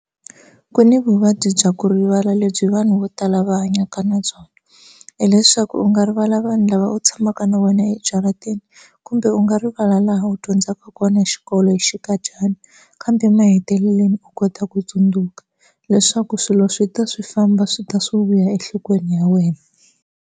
Ku ni vuvabyi bya ku rivala lebyi vanhu vo tala va hanyaka na byona hileswaku u nga rivala vanhu lava u tshamaka na vona ejaratini kumbe u nga rivala laha u dyondzaka kona xikolo hi xinkadyana kambe emahetelelweni u kota ku tsundzuka leswaku swilo swi ta swi famba swi ta swi vuya enhlokweni ya wena.